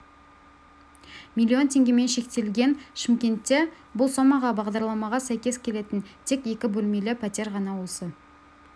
миллион теңгемен шектелген шымкентте бұл сомаға бағдарламаға сәйкес келетін тек екі бөлмелі пәтер ғана осы